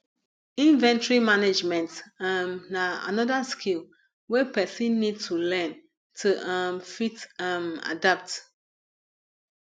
inventory management um na anoda skill wey person need to learn to um fit um adapt